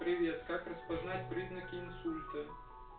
привет как распознать признаки инсульта